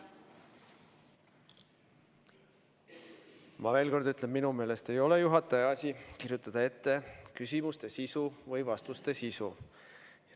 Ma veel kord ütlen, et minu meelest ei ole juhataja asi kirjutada ette küsimuste või vastuste sisu.